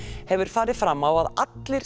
hefur farið fram á að allir